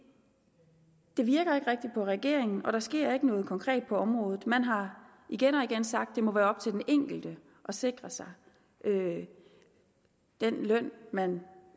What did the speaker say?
virker ikke rigtig på regeringen og der sker ikke noget konkret på området man har igen og igen sagt at det må være op til den enkelte at sikre sig den løn man